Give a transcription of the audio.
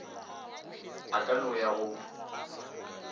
a ka no ya go